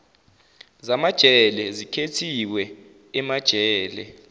zamajele zikhethiwe emajele